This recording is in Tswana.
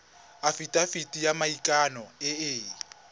afitafiti ya maikano e e